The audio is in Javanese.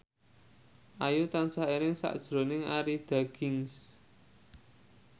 Ayu tansah eling sakjroning Arie Daginks